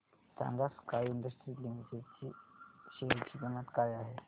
सांगा Sky Industries Limited च्या share ची किंमत काय आहे